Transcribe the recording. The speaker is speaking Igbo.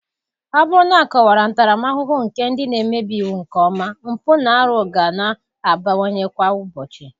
Ọ bụrụ na akọwara ntaramahụhụ nke ndị na-emebi iwu nke ọma, mpụ na-arụ ga na-abawanye kwa ụbọchị.